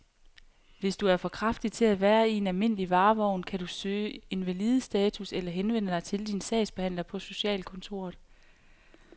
Hvis du er for kraftig til at være i en almindelig varevogn, kan du kan søge invalidestatus eller henvende dig til din sagsbehandler på socialkontoret.